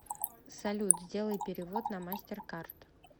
салют сделай перевод на мастеркард